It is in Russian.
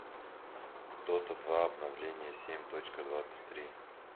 дота два обновление семь точка двадцать три